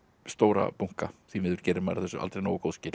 stóra bunka því miður gerir maður þessu aldrei nógu góð skil